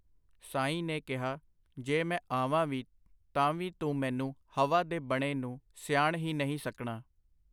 ਸਾਈਂ ਨੇ ਕਿਹਾ, ਜੇ ਮੈਂ ਆਵਾਂ ਵੀ ਤਾਂ ਵੀ ਤੂੰ ਮੈਨੂੰ ਹਵਾ ਦੇ ਬਣੇ ਨੂੰ ਸਿਆਣ ਹੀ ਨਹੀਂ ਸਕਣਾ.